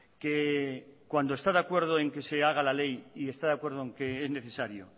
que cuando está de acuerdo en que se haga la ley y está de acuerdo en que es necesario